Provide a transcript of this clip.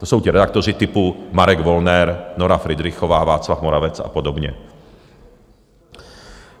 To jsou ti redaktoři typu Marek Wollner, Nora Fridrichová, Václav Moravec a podobně.